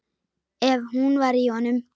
Ef hún var í honum.